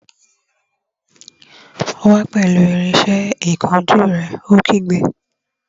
Wá pẹ̀lú irinsẹ́ ìkunjú rẹ̀! Ó kígbe